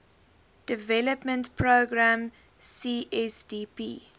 development programme csdp